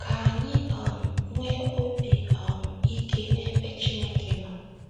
Ka anyị um nwee obi um ike n’ebe Chineke nọ